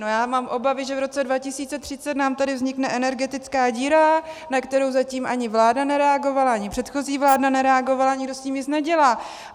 No já mám obavy, že v roce 2030 nám tady vznikne energetická díra, na kterou zatím ani vláda nereagovala, ani předchozí vláda nereagovala, nikdo s tím nic nedělá.